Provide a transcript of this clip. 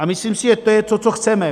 A myslím si, že to je to, co chceme.